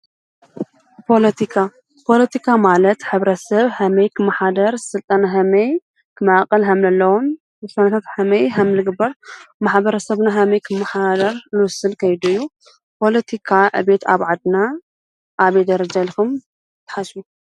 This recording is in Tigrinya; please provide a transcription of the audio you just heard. ፖለቲካ፣ ፖለቲካ ማለት ሕብረተ ሰብ ከመይ ክመሓደር ስልጣና ኸመይ ክማቐል ከምዘለዎን ውሳነታት ከመይ ከም ዝግበርር ማሕበረ ሰብና ኸመይ ክመሓደር ዝውስን ከይዱ እዩ። ፖለቲካ ዕብየት ኣብ ዓድና ኣብይ ደረጀ ኢልኹም ትሓስቡሕ?